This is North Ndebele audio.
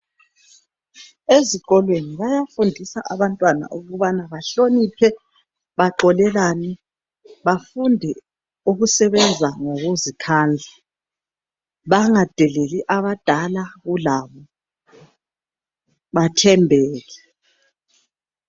Ezikolweni bayafundisa abantwana ukubana bahloniphe, boxolelane njalo bafunde ukusebenza ngokuzikhandla. Bayafundisa njalo inhlonipho ukuthi bahloniphe abadala.